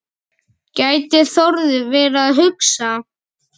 gæti Þórður verið að hugsa.